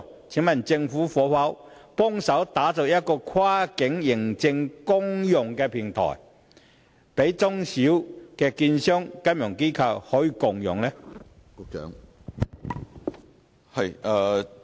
請問政府可否協助打造一個跨境認證公用平台，供中小型證券商和金融機構共用？